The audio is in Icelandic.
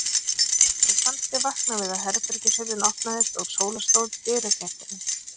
Mér fannst ég vakna við að herbergishurðin opnaðist og Sóla stóð í dyragættinni.